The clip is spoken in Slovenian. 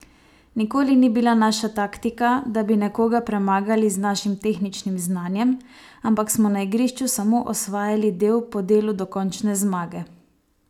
Nikoli ni bila naša taktika, da bi nekoga premagali z našim tehničnim znanjem, ampak smo na igrišču samo osvajali del po delu do končne zmage.